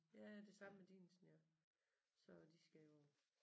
Ja det samme med Dinesen ja så de skal jo